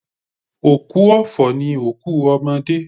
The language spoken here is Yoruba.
Òkú ọ̀fọ̀ ni òkú ọmọdé.